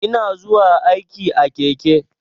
Ina zuwa aiki a keke.